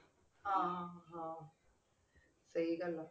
ਹਾਂ ਹਾਂ ਸਹੀ ਗੱਲ ਆ